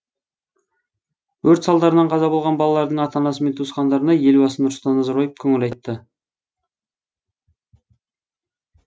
өрт салдарынан қаза болған балалардың ата анасы мен туысқандарына елбасы нұрсұлтан назарбаев көңіл айтты